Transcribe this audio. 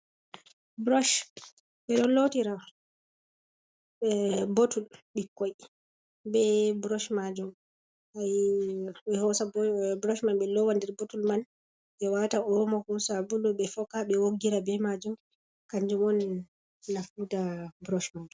Burosh ɓe ɗo lotira botul ɓikkoi be burosh majum, ɓe hosa burosh man ɓe lowa nder botul man ɓe wata omo ko sabulo ɓe foka ɓe woggira be majum, kanjum on nafu ta burosh man.